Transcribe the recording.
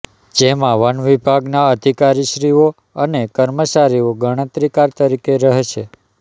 જેમાં વન વિભાગના અધીકારીશ્રીઓ અને કર્મચારીઓ ગણતરીકાર તરીકે રહેશે